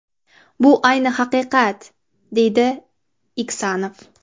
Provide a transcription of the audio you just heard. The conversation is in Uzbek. Bu ayni haqiqat”, deydi Iksanov.